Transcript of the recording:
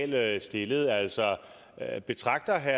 dahl stillede altså betragter herre